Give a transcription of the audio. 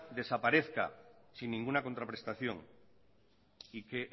desaparezca sin ninguna contraprestación y que